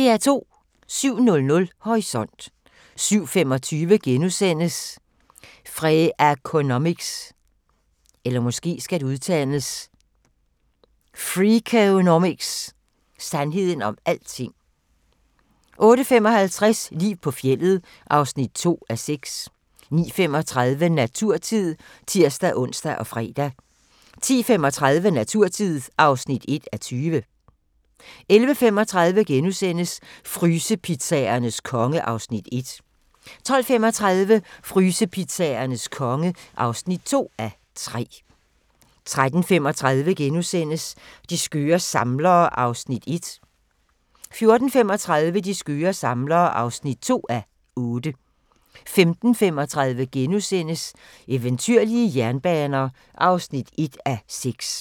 07:00: Horisont 07:25: Freakonomics – sandheden om alting * 08:55: Liv på fjeldet (2:6) 09:35: Naturtid (tir-ons og fre) 10:35: Naturtid (1:20) 11:35: Frysepizzaernes konge (1:3)* 12:35: Frysepizzaernes konge (2:3) 13:35: De skøre samlere (1:8)* 14:35: De skøre samlere (2:8) 15:35: Eventyrlige jernbaner (1:6)*